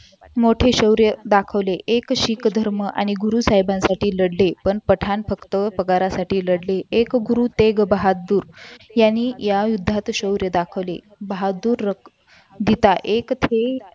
मोठे शौर्य दाखवले एक सिख धर्म आणि गुरु साहेबांसाठी लढले पण पठाण फक्त पगारासाठीच लढले एक गुरुतेक बहादुर यांनी या युद्धात शौर्य दाखवले बहादूर विधान एक थे